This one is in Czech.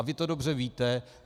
A vy to dobře víte.